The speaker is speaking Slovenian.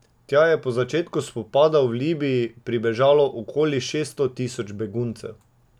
Tja je po začetku spopadov v Libiji pribežalo okoli šeststo tisoč beguncev.